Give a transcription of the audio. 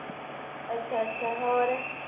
ਅੱਛਾ-ਅੱਛਾ ਹੋਰ